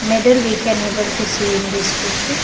Medal we can able to see in this picture.